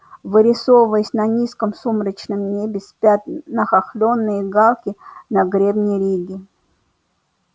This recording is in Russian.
вырисовываясь на низком сумрачном небе спят нахохлённые галки на гребне риги